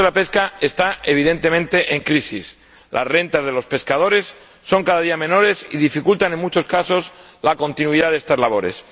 El sector de la pesca está, evidentemente, en crisis las rentas de los pescadores son cada día menores y dificultan en muchos casos la continuidad de estas labores.